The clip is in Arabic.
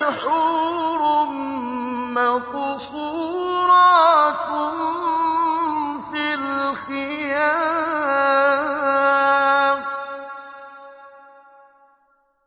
حُورٌ مَّقْصُورَاتٌ فِي الْخِيَامِ